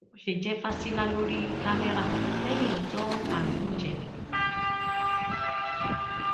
ó ṣe jẹ fásilà ló rí kámẹrà lẹyìn ọjọ karùnún ìsẹlẹ